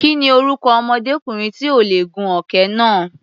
Kí ni orúkọ ọmọdékùnrin tí ò lè gun òkè náà?